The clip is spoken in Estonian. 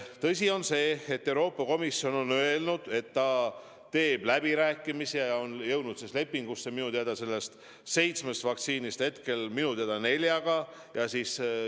Tõsi on see, et Euroopa Komisjon on öelnud, et ta peab läbirääkimisi ja on jõudnud lepinguni minu teada seitsmest vaktsiinist hetkel nelja kohta.